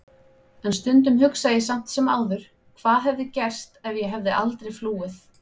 En stundum hugsa ég samt sem áður hvað hefði gerst ef ég hefði aldrei flúið.